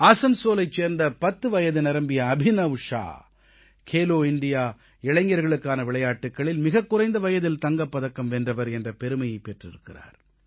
ஆஸன்சோலைச் சேர்ந்த 10 வயது நிரம்பிய அபினவ் ஷா கேலோ இண்டியா இளைஞர்களுக்கான விளையாட்டுக்களில் மிகக் குறைந்த வயதில் தங்கப் பதக்கம் வென்றவர் என்ற பெருமை பெற்றிருக்கிறார்